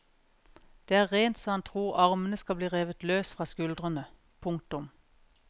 Det er rent så han tror armene skal bli revet løs fra skuldrene. punktum